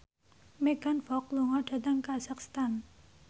Megan Fox lunga dhateng kazakhstan